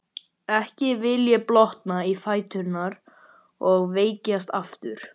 Ekki vill hann blotna í fæturna og veikjast aftur.